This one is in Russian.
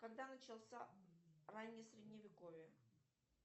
когда начался раннее средневековье